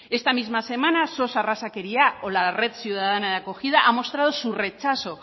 esta misma semana sos arrazakeria o la red ciudadana de acogida ha mostrado su rechazo